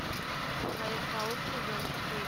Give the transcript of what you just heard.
человек паук сезон четыре